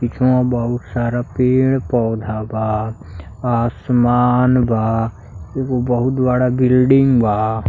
पिछवा बहुत सारा पेड़ पौधा बा। आसमान बा एगो बहुत बड़ा बिल्डिंग बा।